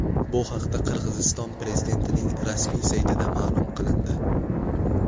Bu haqda Qirg‘iziston prezidentining rasmiy saytida ma’lum qilindi .